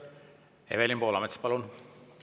Evelin Poolamets, palun!